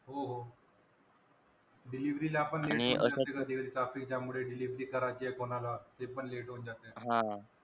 हो हो delivery आपण कधी कधी traffic jam मुळे delivery करायची कोणाला ती पण late होवून जात.